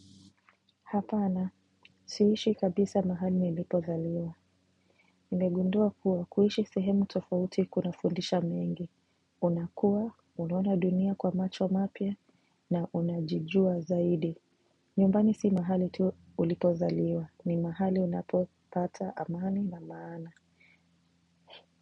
Hapana, siishi kabisa mahali nilipozaliwa. Nimegundua kuwa kuishi sehemu tofauti kunafundisha mengi. Unakuwa, unaona dunia kwa macho mapya, na unajijua zaidi. Nyumbani si mahali tu ulipozaliwa. Ni mahali unapopata amani na maana.